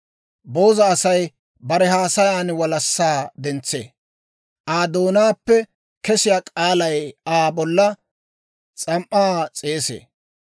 Booza Asay bare haasayan walassaa dentsee; Aa doonaappe kesiyaa k'aalay Aa bolla s'am"aa s'eesee.